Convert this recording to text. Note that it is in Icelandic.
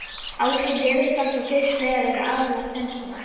Áhrif veðurfars á fiskveiðar eru aðallega tvenns konar.